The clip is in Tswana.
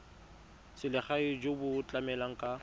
selegae jo bo tlamelang ka